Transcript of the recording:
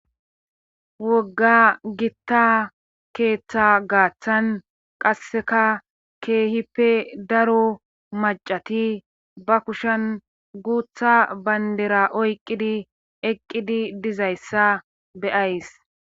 wogga gitta keeththa gaaththan qasseka keehippe daro macati ba kushen guutha bayndera oyqqidi eqqidi dizayssa beyays